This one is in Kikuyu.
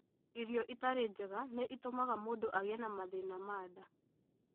Irio itarĩ njega nĩ itũmaga mũndũ agĩe na mathĩna ma nda.